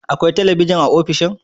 Akwai talabijin a ofishin?